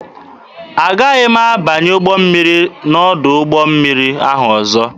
Agaghị m abanye ụgbọ mmiri n'ọdụ ụgbọ mmiri ahụ ọzọ.